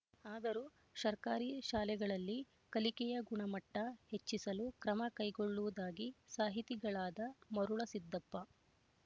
ಆದರೂ ಸರ್ಕಾರಿ ಶಾಲೆಗಳಲ್ಲಿ ಕಲಿಕೆಯ ಗುಣಮಟ್ಟ ಹೆಚ್ಚಿಸಲು ಕ್ರಮ ಕೈಗೊಳ್ಳುವುದಾಗಿ ಸಾಹಿತಿಗಳಾದ ಮರುಳಸಿದ್ದಪ್ಪ